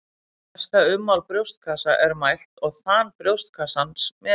Mesta ummál brjóstkassa er mælt og þan brjóstkassans metið.